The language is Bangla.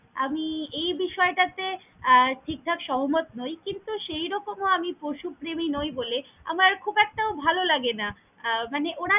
আমি এই বিষয়টাতে আহ ঠিকঠাক সহমত নই। কিন্তু সেইরকমও আমি পশুপ্রেমী নই বলে, আমার খুব একটাও ভালোলাগে না আহ মানে ওরা।